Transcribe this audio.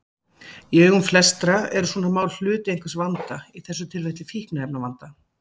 Í augum flestra eru svona mál hluti einhvers vanda, í þessu tilfelli fíkniefnavandans.